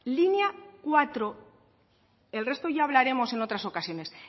línea cuatro el resto ya hablaremos en otras ocasiones